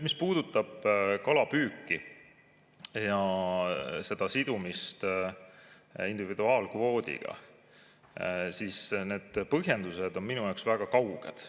Mis puudutab kalapüüki ja sidumist individuaalkvoodiga, siis need põhjendused on minu jaoks väga kauged.